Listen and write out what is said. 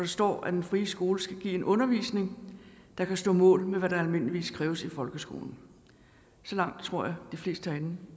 står at den frie skole skal give en undervisning der kan stå mål med hvad der almindeligvis kræves i folkeskolen så langt tror jeg de fleste herinde